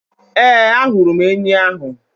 Ee, ahụrụ m enyi ahụ